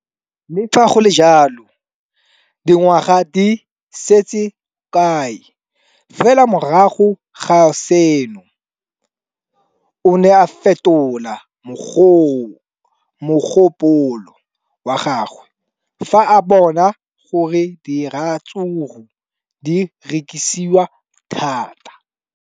Le fa go le jalo, dingwaga di se kae fela morago ga seno, o ne a fetola mogopolo wa gagwe fa a bona gore diratsuru di rekisiwa thata.